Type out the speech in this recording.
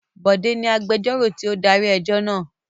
Bọ̀dé ni agbẹjọ́rò tí ó darí ẹjọ́ náà.